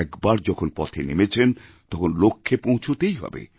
একবার যখন পথে নেমেছেন তখন লক্ষ্যে পৌঁছতেই হবে